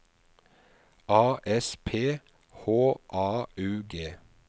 A S P H A U G